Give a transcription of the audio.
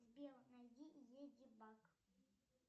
сбер найди леди баг